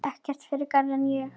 Ekkert frekar en ég.